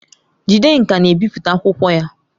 Jidenka na-ebipụta akwụkwọ ya.